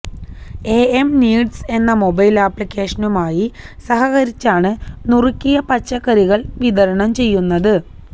am needs എന്ന മൊബൈൽ ആപ്ലിക്കേഷനുമായി സഹകരിച്ചാണ് നുറുക്കിയ പച്ചക്കറികൾ വിതരണം ചെയ്യുന്നത്